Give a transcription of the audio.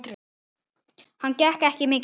Hann getur ekki mikið meir.